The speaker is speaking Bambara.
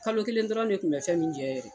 Kalo kelen dɔrɔn de kun bɛ fɛn min jɛn yɛrɛ.